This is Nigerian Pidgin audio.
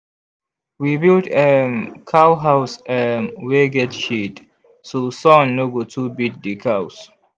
we build um cow house um wey get shade so sun no go too beat the cows.